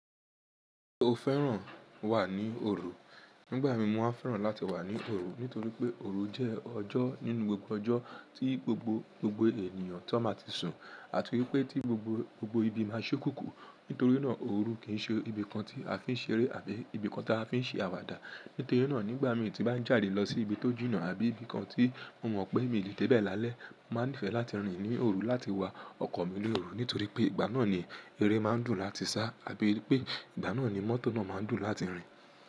Ṣé o fẹ́ràn wà ní òru? Nígbà mi, mo máa fẹ́ràn láti wà ní òru nítorí pé òru jẹ́ ọjọ́ nínú gbogbo ọjọ́ tí gbogbo, gbogbo ènìyàn tó ma ti sùn àti wípé tí gbogbo, gbogbo ibi máa ṣukùnkùn. Nítoríná òru kì n ṣe ibi kan tí a fi ń ṣeré àbí ibi kan tí a fi ń ṣe àwàdà. Nítorí náà nígbà mí tí bá ń jáde lọ sí ibi tó jìnà àbí ibi kan tí mo mọ̀ pé mi ò lè dé bẹ̀ lálẹ́, màá n nífẹ̀ẹ́ láti rìn ní òru láti wa ọkọ̀ mi ní òru nítorí pé ìgbà náà ni, eré máa ń dùn láti sá àbí pé ìgbà náà ni mọ́tò náà máa ń dùn láti rìn.